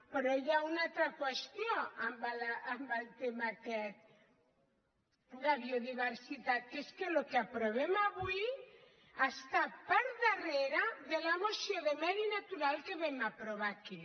però hi ha una altra qüestió en el tema aquest de biodiversitat que és que el que aprovem avui està per darrere de la moció de medi natural que vam aprovar aquí